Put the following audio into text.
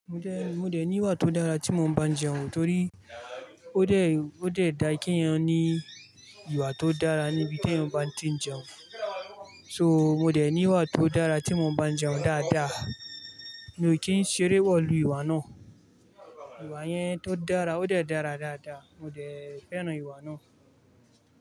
Mo dé, mo dẹ̀ ní ìwà tó dára tí mo máa bá jẹun torí ó dé, ó dẹ̀ dá kí èèyàn ní ìwà tó dára níbi tí èyàn bá ti jẹun. So mo dẹ̀ ní ìwà tó dára tí mo bá jẹun dáadáa, mo kí n ṣeré pọ̀ lu ìwà náà. Ìwà yẹn tó dára, ó dẹ̀ dára dáadáa, mo dẹ̀ fẹ́ràn ìwà náà.